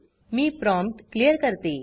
मी prompt clear करते